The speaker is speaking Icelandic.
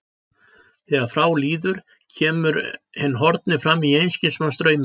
Þegar frá líður kemur hinn horfni fram í einskis manns draumi.